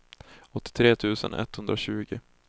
åttiotre tusen etthundratjugo